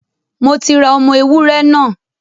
Mo ti ra ọmọ ewúrẹ́ náà.